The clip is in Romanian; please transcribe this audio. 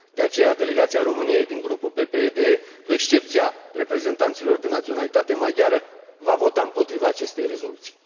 De aceea, delegația României din Grupul PPE DE, cu excepția reprezentanților de naționalitate maghiară, va vota împotriva acestei rezoluții.